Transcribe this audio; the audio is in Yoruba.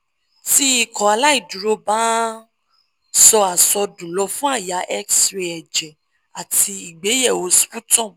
ti ikọaláìdúró ba n sọ àsọdùn lọ fun àyà x-ray ẹjẹ ati igbeyewo sputum